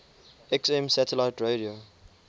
xm satellite radio